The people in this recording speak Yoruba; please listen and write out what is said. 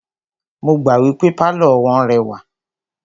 Mo gbà wípé pálọ̀ wọ́n rẹwà.